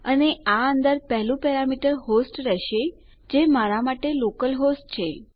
અને આ અંદર પહેલુ પેરામીટર હોસ્ટ રહેશે અને જે મારા માટે લોકલહોસ્ટ છે